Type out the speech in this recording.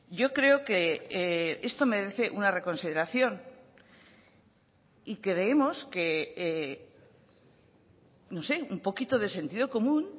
yo creo que esto merece una reconsideración y creemos que no sé un poquito de sentido común